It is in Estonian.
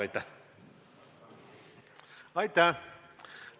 Aitäh!